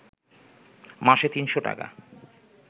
মাসে ৩০০ টাকা